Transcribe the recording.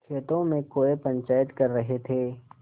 खेतों में कौए पंचायत कर रहे थे